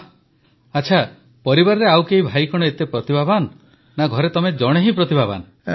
ବାଃ ଆଚ୍ଛା ପରିବାରରେ ଆଉ ଭାଇ କଣ ଏତେ ପ୍ରତିଭାବାନ ନା ଘରେ ତମେ ଜଣେ ହିଁ ପ୍ରତିଭାବାନ